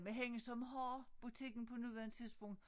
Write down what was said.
Men hende som har butikken på nuværende tidspunkt